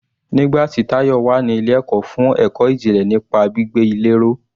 Nígbà tí Tayọ wà ní ilé ẹ̀kọ́ fún ẹ̀kọ́ ìjìnlẹ̀ nípa gbígbé ilé ró.